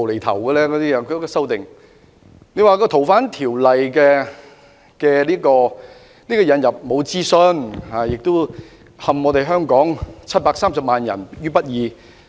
他們說修訂《逃犯條例》沒有進行諮詢，並會陷香港730萬人於不義。